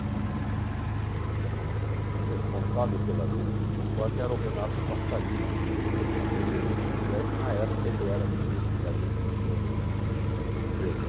que o o responsável pela agência de Mococa era o Renato Costa Lima, filho do fazendeiro de São José, que na época ele era ministro da agricultura no no governo.